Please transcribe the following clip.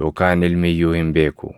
yookaan Ilmi iyyuu hin beeku.